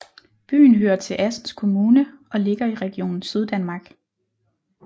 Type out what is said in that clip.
Byen hører til Assens Kommune og ligger i Region Syddanmark